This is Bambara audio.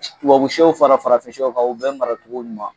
Wababuw sɛw fara farafinsɛw kan u bɛ maratogo ɲuman